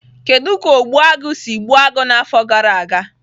Kedu ka Ogbu agu si gbuo agụ n'afọ gara aga?